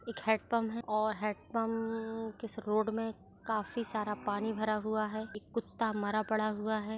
एक हैंडपंप है और हैंड पंप के इस रोड में काफी सारा पानी भरा हुआ है। एक कुत्ता मरा पड़ा हुआ है।